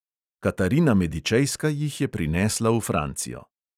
Katarina medičejska jih je prinesla v francijo.